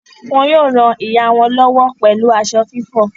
Wọ́n yóò ràn ìyá wọn lọ́wọ́ pẹ̀lú aṣọ fífọ̀.